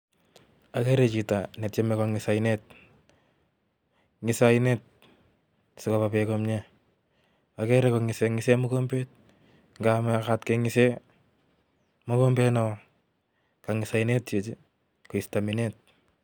Ageere chito netiemei kongiis oinet, ngise oinet sikoba beek komye, agere kongise kongisen mokombet, akangis oinet Chichi koistoo beek